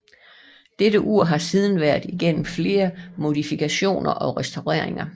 Dette ur har siden været igennem flere modifikationer og restaureringer